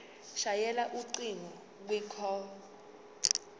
shayela ucingo kwicall